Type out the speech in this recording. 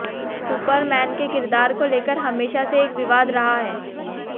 Superman के किरदार को लेकर हमेशा से एक विवाद रहा है